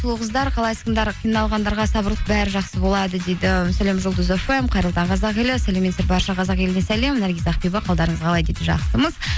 сұлу қыздар қалайсыңдар қиналғандарға сабырлық бәрі жақсы болады дейді сәлем жұлдыз фм қайырлы таң қазақ елі сәлеметсіздер барша қазақ еліне сәлем наргиз ақбибі қалдарыңыз қалай дейді жақсымыз